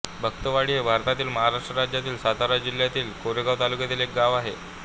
भक्तवाडी हे भारतातील महाराष्ट्र राज्यातील सातारा जिल्ह्यातील कोरेगाव तालुक्यातील एक गाव आहे